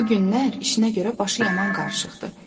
Bugünlər işinə görə başı yaman qarışıqdır.